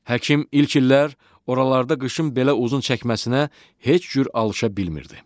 Həkim ilk illər oralarda qışın belə uzun çəkməsinə heç cür alışa bilmirdi.